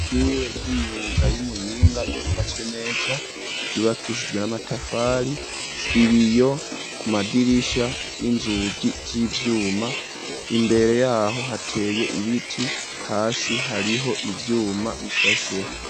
Ishure ry'imyuga yi Muyinga ryubatswe neza ryubakishijwe n'amatafari .Ibiyo ku madirisha n'inzugi z'ivyuma imbere yaho hateye ibiti hasi hariho ivyuma bishasheho.